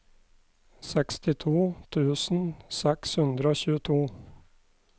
sekstito tusen seks hundre og tjueto